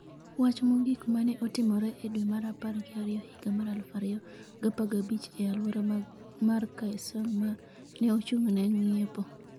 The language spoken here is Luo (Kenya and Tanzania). Wach mogik ma ne otimre e dwe mar apar gi ariyo higa mar 2015 e alwora mar Kaesong ma ne ochung’ne ng’iepo.